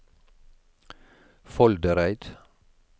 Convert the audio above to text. Foldereid